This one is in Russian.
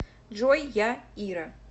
джой я ира